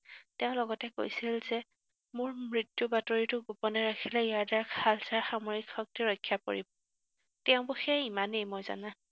তেওঁ লগতে কৈছিল যে মোৰ মৃত্যুৰ বাতৰিটো গোপনে ৰাখিলে ইয়াৰ দ্বাৰা খালছাৰ সামৰিক শক্তি ৰক্ষা পৰিব। তেওঁ বিষয়ে ইমানেই মই জনা।